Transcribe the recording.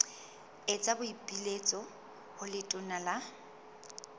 etsa boipiletso ho letona la